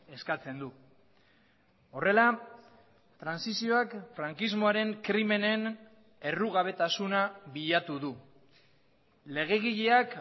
eskatzen du horrela trantsizioak frankismoaren krimenen errugabetasuna bilatu du legegileak